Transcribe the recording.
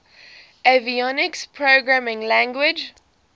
avionics programming language